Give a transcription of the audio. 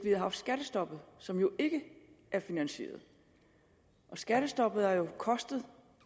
havde haft skattestoppet som jo ikke er finansieret skattestoppet har jo kostet